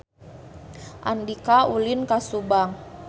Andika ulin ka Subang